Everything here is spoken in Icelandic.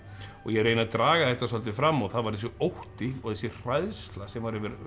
og ég reyni að draga þetta svolítið fram og það var þessi ótti og þessi hræðsla sem var